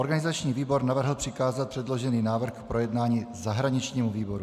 Organizační výbor navrhl přikázat předložený návrh k projednání zahraničnímu výboru.